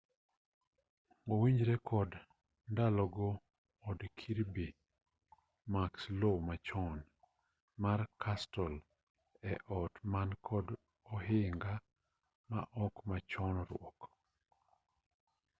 owinjore kod ndalogo od kirby muxloe machon mar castle en ot man kod ohinga maok machon ruok